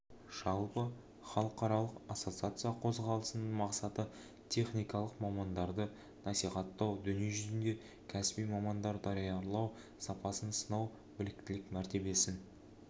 жалпы халықаралық ассоциациясы қозғалысының мақсаты техникалық мамандарды насихаттау дүниежүзінде кәсіби мамандар даярлау сапасын сынау біліктілік мәртебесін